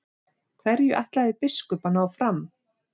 Hverju ætlaði biskup að ná fram?